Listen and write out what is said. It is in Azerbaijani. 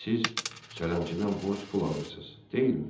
Siz sələmçidən borc pul alırsız, deyilmi?